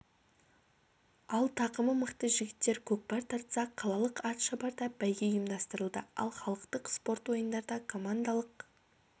ал тақымы мықты жігіттер көкпар тартса қалалық ат шабарда бәйге ұйымдастырылды ал халықтық спорт ойындарда командалық